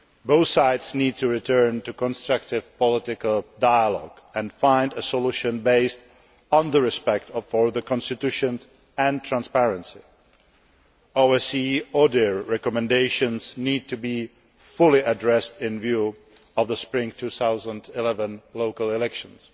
Both sides need to return to constructive political dialogue and find a solution based on respect for the Constitution and transparency. OSCE ODIHR recommendations need to be fully addressed in view of the spring 2011 local elections.